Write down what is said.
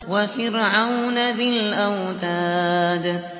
وَفِرْعَوْنَ ذِي الْأَوْتَادِ